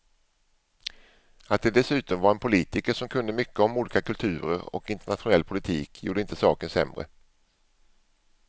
Att det dessutom var en politiker som kunde mycket om olika kulturer och internationell politik gjorde inte saken sämre.